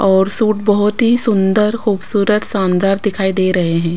और सूट बहुत ही सुंदर खूबसूरत शानदार दिखाई दे रहे हैं।